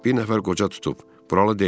Bir nəfər qoca tutub, buralı deyil.